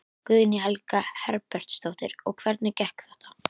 Guðný Helga Herbertsdóttir: Og hvernig gekk þetta?